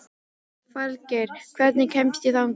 Falgeir, hvernig kemst ég þangað?